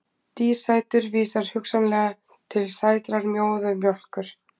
Dísætur vísar hugsanlega til sætrar móðurmjólkur.